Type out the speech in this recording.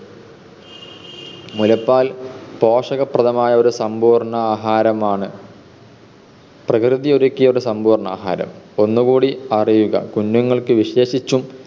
മുലപ്പാൽ പോഷകപ്രദമായ ഒരു സമ്പൂർണ ആഹാരമാണ്. പ്രകൃതിയൊരുക്കിയ സമ്പൂർണ ആഹാരം. ഒന്നുകൂടി അറിയുക, കുഞ്ഞുങ്ങൾക്ക് വിശേഷിച്ചും